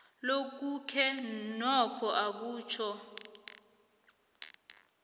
lokhuke nokho akutjho